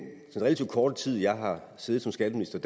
relativt korte tid jeg har siddet som skatteminister